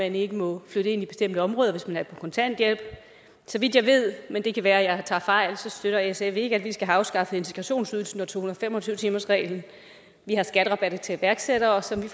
ikke må flytte ind i bestemte områder hvis de er på kontanthjælp så vidt jeg ved men det kan være jeg tager fejl støtter sf ikke at vi skal have afskaffet integrationsydelsen og to hundrede og fem og tyve timersreglen vi har skatterabatten til iværksættere som vi